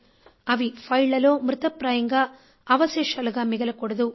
అవి ఫైళ్ళలో మృతప్రాయంగా అవశేషాలుగా మిగలకూడదు